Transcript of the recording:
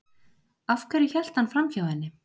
Af hverju hélt hann framhjá henni?